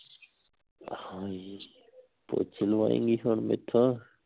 ਹਾਏ ਪੋਚੇ ਲਵਾਏਂਗੀ ਹੁਣ ਮੈਥੋਂ